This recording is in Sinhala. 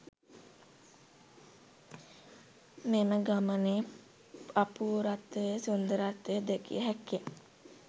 මෙම ගමනේ අපූර්වත්වය, සුන්දරත්වය දැකිය හැක්කේ